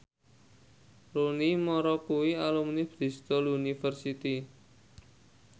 Rooney Mara kuwi alumni Bristol university